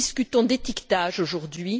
Nous discutons d'étiquetage aujourd'hui.